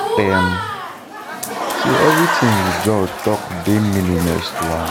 im say eviriritin di judge tok dey meaningless to am